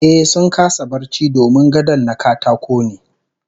Ehh, sun kasa barci domin gadon na katako ne